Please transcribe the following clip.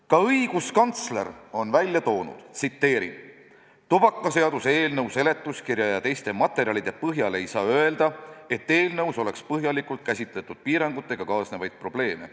Ka õiguskantsler on välja toonud: "Tubakaseaduse eelnõu seletuskirja ja teiste materjalide põhjal ei saa öelda, et eelnõus oleks põhjalikult käsitletud piirangutega kaasnevaid probleeme.